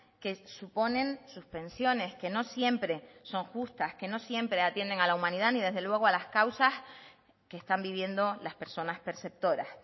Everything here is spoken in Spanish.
que suponen suspensiones que no siempre son justas que no siempre atienden a la humanidad ni desde luego a las causas que están viviendo las personas perceptoras